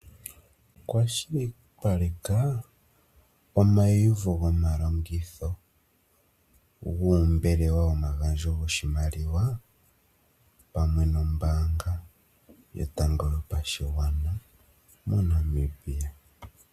Kwashilipaleka omayiuvo gomalongitho, goombelewa dhomagandjo goshimaliwa, pamwe nombaanga yotango yopashigwana moNamibia.